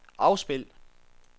afspil